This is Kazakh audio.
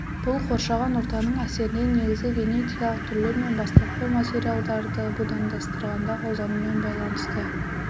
бұл қоршаған ортаның әсерінен негізгі генетикалық түрлер мен бастапқы материалдарды будандастырғанда қолданумен байланысты